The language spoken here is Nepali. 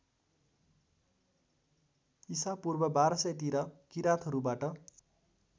ईशापूर्व १२००तिर किराँतहरूबाट